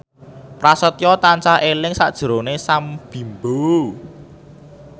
Prasetyo tansah eling sakjroning Sam Bimbo